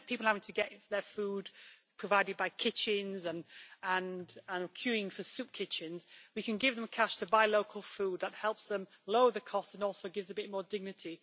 Instead of people having to get their food provided by kitchens, and having to queue up at soup kitchens, we can give them cash to buy local food that helps them lower the costs and also gives a bit more dignity.